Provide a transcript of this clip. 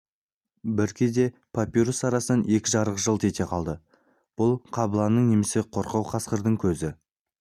бір кезде папирус арасынан екі шырақ жылт ете қалды бұл қабыланның немесе қорқау қасқырдың көзі